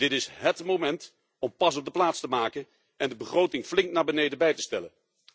Dit is hét moment om pas op de plaats te maken en de begroting flink naar beneden bij te stellen.